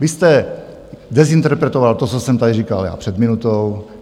Vy jste dezinterpretoval to, co jsem tady říkal já před minutou.